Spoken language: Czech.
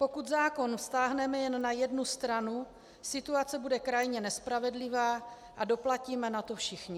Pokud zákon vztáhneme jen na jednu stranu, situace bude krajně nespravedlivá a doplatíme na to všichni.